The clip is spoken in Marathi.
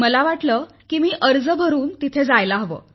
मला वाटले की मी अर्ज भरून तेथे जायला हवे